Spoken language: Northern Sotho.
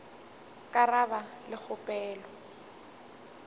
ka ra ba le kgopelo